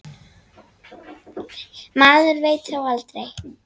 Maður veit þó aldrei.